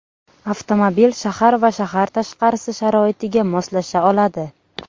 Avtomobil shahar va shahar tashqarisi sharoitiga moslasha oladi.